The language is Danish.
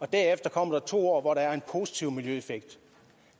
derefter kommer to år hvor der er en positiv miljøeffekt